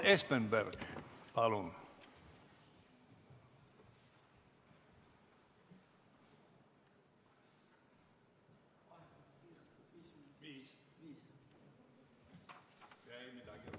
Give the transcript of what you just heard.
Urmas Espenberg, palun!